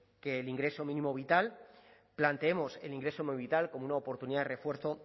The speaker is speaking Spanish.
que el ingreso mínimo vital planteemos el ingreso mínimo vital como una oportunidad de refuerzo